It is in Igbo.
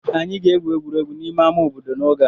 Anyị ga-egwu egwuregwu n'ime ama obodo n'oge a.